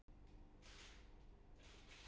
Ertu vitlaus, sagði Arnór.